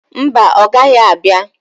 Mba, ọ gaghị abia.